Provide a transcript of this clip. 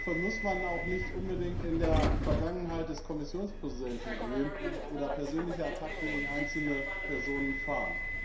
Dafür muss man auch nicht unbedingt in der Vergangenheit des Kommissionspräsidenten wühlen oder persönliche Attacken gegen einzelne Personen fahren.